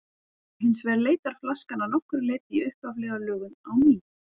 Hins vegar leitar flaskan að nokkru leyti í upphaflega lögun á ný.